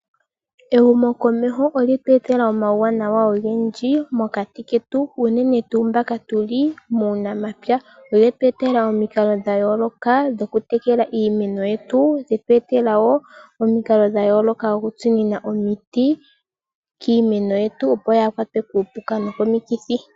Ehumo komeho olye tu etela omawuwanawa ogendji mokati ketu unene tuu mba tuli muunamapya. Olye teelelwa omikalo dhayooloka dhokutekela iimeno yetu, lyetu etela wo omikalo dhokutsinina omiti kiimeno yetu opo yaakwatwe kuupuka nokomikithi.